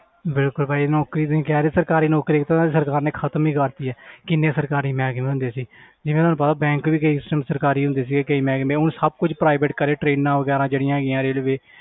ਬਿਲਕੁਲ ਭਾਜੀ ਨੌਕਰੀ ਤੁਸੀਂ ਕਹਿ ਰਹੇ ਸਰਕਾਰੀ ਨੌਕਰੀ ਤਾਂ ਸਰਕਾਰ ਨੇ ਖ਼ਤਮ ਹੀ ਕਰ ਦਿੱਤੀ ਹੈ ਕਿੰਨੇ ਸਰਕਾਰੀ ਮਹਿਕਮੇ ਹੁੰਦੇ ਸੀ ਜਿਵੇਂ ਤੁਹਾਨੂੰ ਪਤਾ bank ਵੀ ਕਿਸੇ time ਸਰਕਾਰੀ ਹੁੰਦੇ ਸੀਗੇ ਕਈ ਮਹਿਕਮੇ ਹੁਣ ਸਭ ਕੁਛ private ਕਰੇ trains ਵਗ਼ੈਰਾ ਜਿਹੜੀਆਂ ਹੈਗੀਆਂ railway